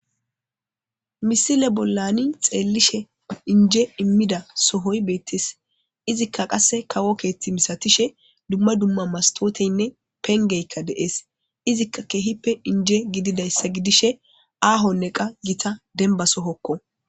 misile bollani xeellishe inje immida sohoy beettis izikka qasse kawo keethti misatishe dumma dumma mastooteynne pengeykka deees izikka keehippe inje gididayssa gidishe aahonne qa gita denba sohokko